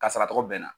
Kasara tɔgɔ bɛnna